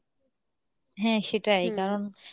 হ্যাঁ সেটাই কারন